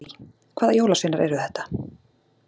Lillý: Hvaða jólasveinar eru þetta?